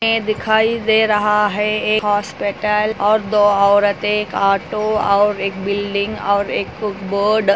यह दिखाई दे रहा हे एक हॉस्पिटल और दो औरते एक ऑटो और एक बिल्डिंग और एक